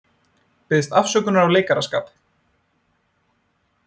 Biðst afsökunar á leikaraskap